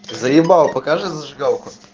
заебал покажи зажигалку